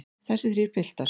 Þessir þrír piltar.